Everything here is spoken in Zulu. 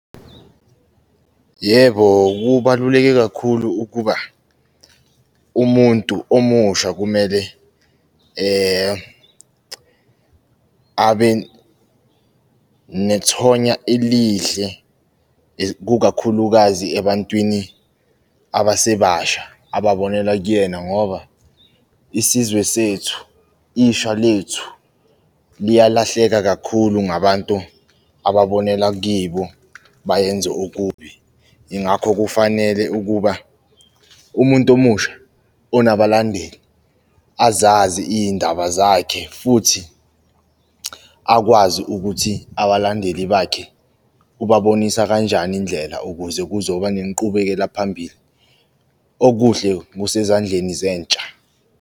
Yebo, kubaluleke kakhulu ukuba umuntu omusha kumele abe nethonya elihle kukakhulukazi ebantwini abasebasha ababonela kuyena ngoba, isizwe sethu, ishwa lethu liyalahleka kakhulu ngabantu ababonela kibo bayenze okubi. Yingakho kufanele ukuba umuntu omusha onabalandeli azazi iy'ndaba zakhe futhi akwazi ukuthi abalandeli bakhe ubabonisa kanjani indlela, ukuze kuzoba nenqubekela phambili. Okuhle kusezandleni zentsha.